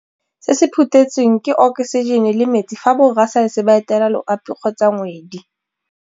Se se phuthetsweng, ke okosijene le metsi fa borra saense ba etela loapi kgotsa ngwedi.